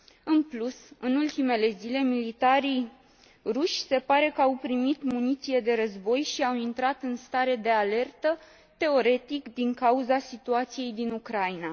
În plus, în ultimele zile, militarii ruși se pare că au primit muniție de război și au intrat în stare de alertă, teoretic din cauza situației din Ucraina.